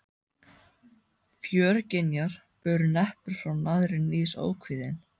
Fjörgynjar bur neppur frá naðri níðs ókvíðinn.